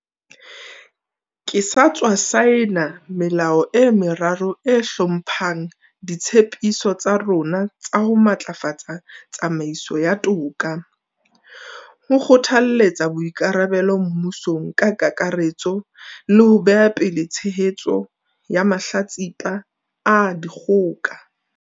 Ke sa tswa saena melao e meraro e hlomphang ditshe piso tsa rona tsa ho matlafatsa tsamaiso ya toka, ho kgothaletsa boikarabelo mmusong ka kakaretso le ho beha pele tshehetso ya mahlatsipa a dikgoka.